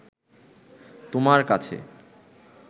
তোমার কাছে